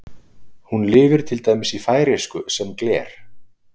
Hún lifir til dæmis í færeysku sem gler.